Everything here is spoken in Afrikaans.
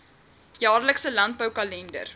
jaarlikse landbou kalender